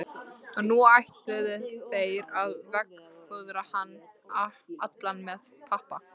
Og nú ætluðu þeir að veggfóðra hann allan með pappa.